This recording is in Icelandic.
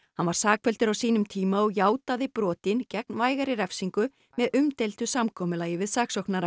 hann var sakfelldur á sínum tíma og játaði brotin gegn vægari refsingu með umdeildu samkomulagi við saksóknara